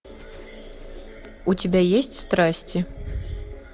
у тебя есть страсти